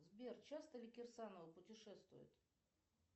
сбер часто ли кирсанова путешествует